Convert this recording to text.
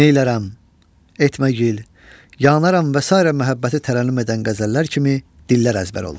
Neylərrəm, etməgil, yanaram və sair məhəbbəti tərənnüm edən qəzəllər kimi dillər əzbər olmuşdur.